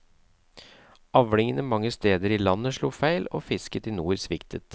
Avlingene mange stedet i landet slo feil, og fisket i nord sviktet.